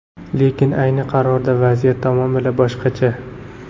Lekin ayni qarorda vaziyat tamomila boshqacha.